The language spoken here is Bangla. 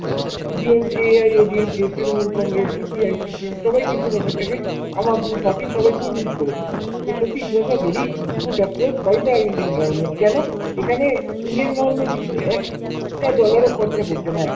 DM কে ADM কে তৃণমূল, কংগ্রেস, CPI, CPM সবাই কিন্তু ব্যাপারটাকে আম আদমি party র সবাই খুব miss করেছে। এ সত্যি it was a very good approach by the Indian government, কেন? এখানে Indian government কিন্তু একটা dollar ও খরচা করছে না এক।